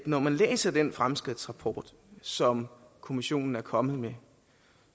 når jeg læser den fremskridtsrapport som kommissionen er kommet med